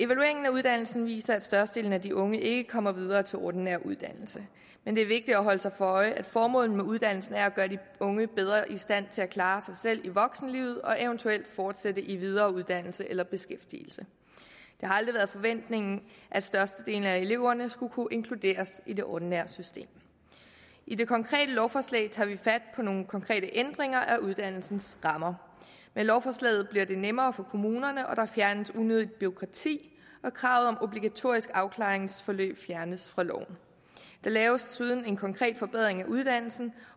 uddannelsen viser at størstedelen af de unge ikke kommer videre til en ordinær uddannelse men det er vigtigt at holde sig for øje at formålet med uddannelsen er at gøre de unge bedre i stand til at klare sig selv i voksenlivet og eventuelt fortsætte i videre uddannelse eller beskæftigelse det har aldrig været forventningen at størstedelen af eleverne skulle kunne inkluderes i det ordinære system i det konkrete lovforslag tager vi fat på nogle konkrete ændringer af uddannelsens rammer med lovforslaget bliver det nemmere for kommunerne og der fjernes unødigt bureaukrati og kravet om obligatorisk afklaringsforløb fjernes fra loven der laves desuden en konkret forbedring af uddannelsen